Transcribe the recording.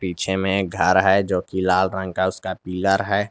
पीछे में एक घर है जो की लाल रंग का उसका पिलर है।